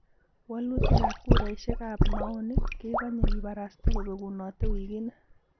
Wolutik ab kuraisiek ab maoni kegonye kibarasta kobegunotee wigini.